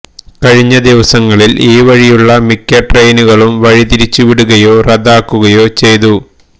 കഴിഞ്ഞ ദിവസങ്ങളിൽ ഈ വഴിയുള്ള മിക്ക ട്രെയിനുകളും വഴിതിരിച്ചുവിടുകയോ റദ്ദാക്കുകയോ ചെയ്തു